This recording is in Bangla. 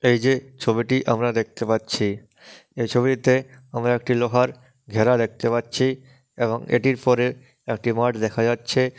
এই যে ছবিটি আমরা দেখতে পাচ্ছি এই ছবিটিতে আমরা একটি লোহার ঘেরা দেখতে পাচ্ছি এবং এটির পরে একটি মাঠ দেখা যাচ্ছে।